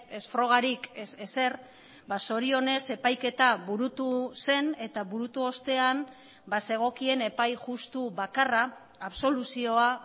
ez frogarik ez ezer zorionez epaiketa burutu zen eta burutu ostean bazegokien epai justu bakarra absoluzioa